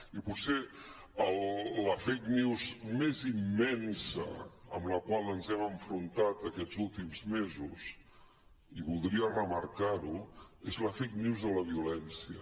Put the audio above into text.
i potser la fake news més immensa amb la qual ens hem enfrontat aquests últims mesos i voldria remarcar ho és la fake news de la violència